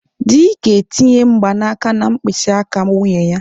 Di ga-etinye mgbanaka na mkpịsị aka nwunye ya.